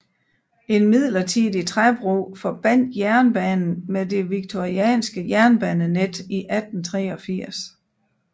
En midlertidig træbro forbandt jernbanen med det victorianske jernbanenet i 1883